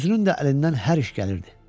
Özünün də əlindən hər iş gəlirdi.